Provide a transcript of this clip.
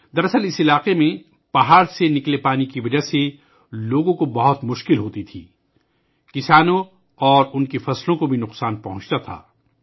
در اصل ، اس علاقے میں پہاڑ سے نکلنے والے پانی کی وجہ سے لوگوں کو بہت مشکل ہوتی تھی ، کسانوں اور ان کی فصلوں کو بھی نقصان پہنچتا تھا